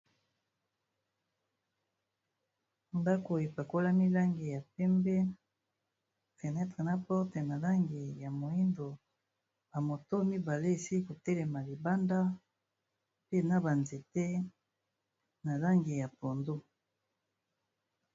Ndaku e pakolami langi ya pembe, fenetre na porte ma langi ya moyindo, ba motos mibale esili ko telema libanda, pe na ba nzete na langi ya pondu .